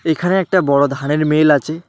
এখানে একটা বড় ধানের মিল আচে।